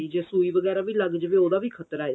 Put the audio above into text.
ਤੇ ਜੇ ਸੁਈ ਵਗੈਰਾ ਵੀ ਲੱਗ ਜਾਵੇ ਤੇ ਉਹਦਾ ਵੀ ਖਤਰਾ ਏ